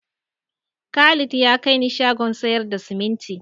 Khalid ya kai ni shagon sayar da simintin.